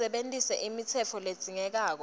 usebentise imitsetfo ledzingekako